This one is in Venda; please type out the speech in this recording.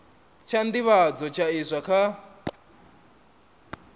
tsha nḓivhadzo tsha iswa kha